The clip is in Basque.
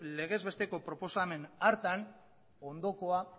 legez besteko proposamen hartan ondokoa